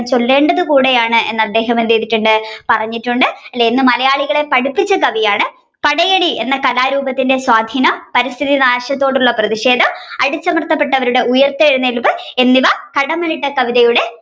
ചൊല്ലേണ്ടത് കൂടെയാണ് എന്ന് അദ്ദേഹം എന്ത് ചെയ്തിട്ടുണ്ട് പറഞ്ഞിട്ടുണ്ട്. അല്ലെ എന്ന് മലയാളികളെ പഠിപ്പിച്ച കവിയാണ് പടയണി എന്ന കഥാരൂപത്തിന്റെ സ്വാധിനം പരിസ്ഥിതി നാശത്തിനോടുള്ള പ്രതിഷേധം അടിച്ചമർത്തപ്പെട്ടവരുടെ ഉയർത്തെഴുനേൽപ് എന്നിവ കടമ്മനിട്ട കവിതയുടെ